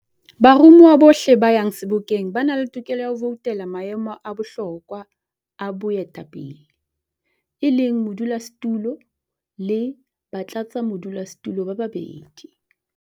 Baromuwa bohle ba yang Sebokeng ba na le tokelo ya ho voutela maemo a bohlokwa a boetapele, e leng a modulasetulo le batlatsamodulasetulo ba babedi.